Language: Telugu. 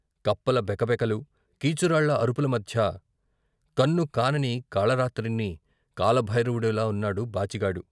కప్పల బెకబెకలు, కీచురాళ్ళ అరు పులమధ్య కన్నుకానని కాళరాత్రిని కాలభైరవుడిలా వున్నాడు బాచిగాడు.